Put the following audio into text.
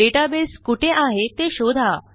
database कुठे आहे ते शोधा